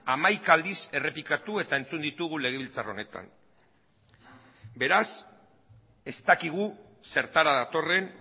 hamaika aldiz errepikatu eta entzun ditugu legebiltzar honetan beraz ez dakigu zertara datorren